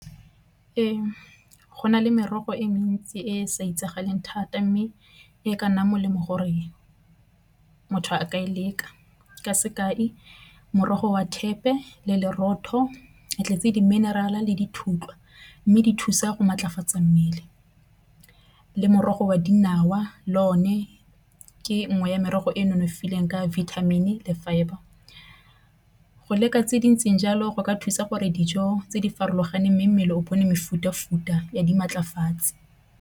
Ee, go na le merogo e mentsi e e sa itsagaleng thata, mme e ka nnang molemo gore motho a ka e leka. Ka sekai morogo wa thepe le lerotho a tletse di-mineral-a le dithutwa mme di thusa go maatlafatsa mmele. Le morogo wa dinawa le o ne ke nngwe ya merogo e e nonofileng ka vitamin-i le fibre. Go leka tse dintseng jalo go ka thusa gore dijo tse di farologaneng, mme mmele o bone mefuta-futa ya dimatlafatsi.